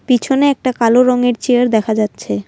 পিছনে একটা কালো রঙের চেয়ার দেখা যাচ্ছে।